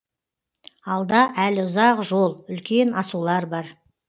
алда әлі ұзақ жол үлкен асулар бар